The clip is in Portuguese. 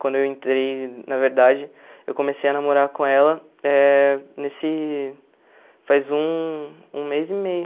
Quando eu entrei, na verdade, eu comecei a namorar com ela eh nesse faz um um mês e meio.